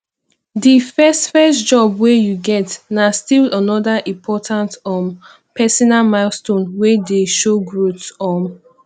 de first first job wey you get na still anoda important um personal milestone wey dey show growth um